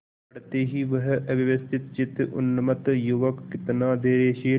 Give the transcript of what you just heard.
पड़ते ही वह अव्यवस्थितचित्त उन्मत्त युवक कितना धैर्यशील